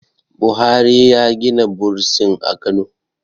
buhari ya Gina bursin a Kano